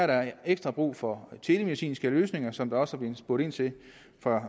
der er ekstra brug for telemedicinske løsninger som der også er blevet spurgt ind til